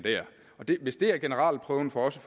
hvis det er generalprøven for os